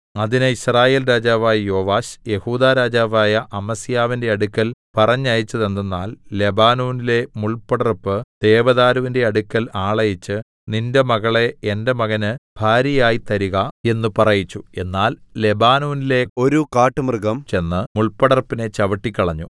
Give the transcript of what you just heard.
അതിന് യിസ്രായേൽ രാജാവായ യോവാശ് യെഹൂദാ രാജാവായ അമസ്യാവിന്റെ അടുക്കൽ പറഞ്ഞയച്ചതെന്തെന്നാൽ ലെബാനോനിലെ മുൾപടർപ്പ് ദേവദാരുവിന്റെ അടുക്കൽ ആളയച്ച് നിന്റെ മകളെ എന്റെ മകന് ഭാര്യയായി തരിക എന്ന് പറയിച്ചു എന്നാൽ ലെബാനോനിലെ ഒരു കാട്ടുമൃഗം ചെന്ന് മുൾപടർപ്പിനെ ചവിട്ടിക്കളഞ്ഞു